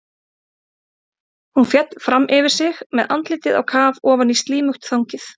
Hún féll fram yfir sig með andlitið á kaf ofan í slímugt þangið.